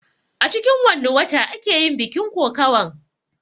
A cikin wanne wata ake yin bikin kokawan?